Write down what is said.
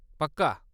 पक्का।